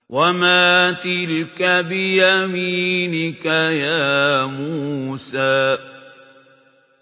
وَمَا تِلْكَ بِيَمِينِكَ يَا مُوسَىٰ